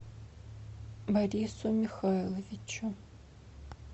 борису михайловичу